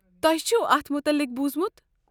تۄہہِ چھُوٕ اتھ متلق بوٗزمُت؟